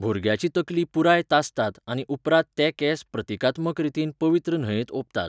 भुरग्याची तकली पुराय तासतात आनी उपरांत ते केंस प्रतिकात्मक रितीन पवित्र न्हंयेक ओंपतात.